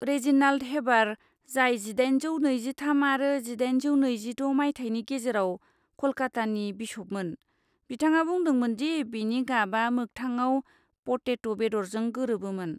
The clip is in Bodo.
रेजिनाल्ड हेबार, जाय जिदाइनजौ नैजिथाम आरो जिदाइनजौ नैजिद' मायथाइनि गेजेराव कलकत्तानि बिश'पमोन, बिथाङा बुंदोंमोन दि बेनि गाबआ मोख्थाङाव पटेद बेदरजों गोरोबोमोन।